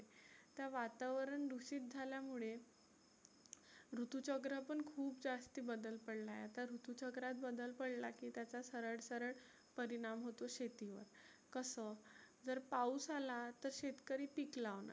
तर वातावरण दुषीत झाल्यामुळे ऋतू चक्र पण खुप जास्ती बदल पडलाय आता. ऋतू चक्रात बदल बडला की त्याचा सरळ सरळ परिनाम होतो शेती वर. कसं जर पाऊस आला तर शेतीकरी पिक लावणार